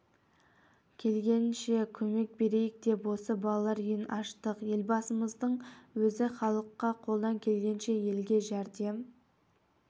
келгенінше көмек берейік деп осы балалар үйін аштық елбасымыздың өзі халыққа қолдан келгенше елге жәрдем